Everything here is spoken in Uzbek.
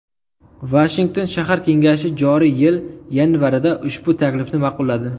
Vashington shahar kengashi joriy yil yanvarida ushbu taklifni ma’qulladi.